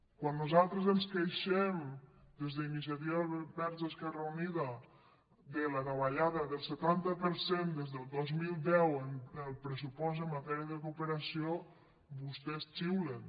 quan nosaltres ens queixem des d’iniciativa verds esquerra unida de la davallada del setanta per cent des del dos mil deu en el pressupost en matèria de cooperació vostès xiulen